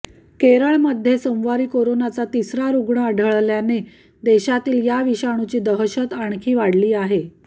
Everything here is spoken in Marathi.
केरळमध्ये सोमवारी कोरोनाचा तिसरा रुग्ण आढळल्याने देशातील या विषाणूची दहशत आणखी वाढली आहे